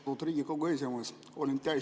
Lugupeetud Riigikogu esimees!